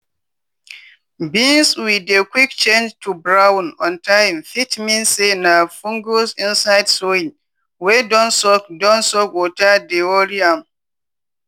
beans wey dey quick change to brown on time fit mean say na fungus inside soil wey don soak don soak water dey worry am.